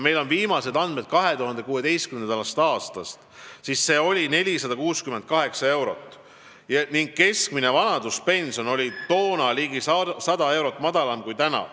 Meil on viimased andmed 2016. aastast, kui suhteline vaesuspiir oli 468 eurot ning keskmine vanaduspension oli ligi 100 eurot madalam kui praegu.